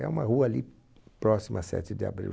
É uma rua ali próxima à Sete de Abril.